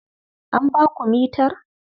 An ba ku mitar?